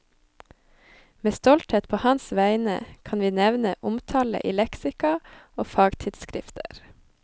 Med stolthet på hans vegne kan vi nevne omtale i leksika og fagtidsskrifter.